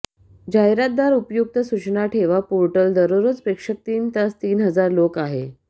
जाहिरातदार उपयुक्त सूचना ठेवा पोर्टल दररोज प्रेक्षक तीस तीन हजार लोक आहे